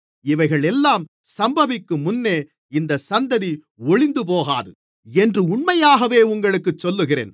இவைகளெல்லாம் சம்பவிக்கும் முன்னே இந்தச் சந்ததி ஒழிந்துபோகாது என்று உண்மையாகவே உங்களுக்குச் சொல்லுகிறேன்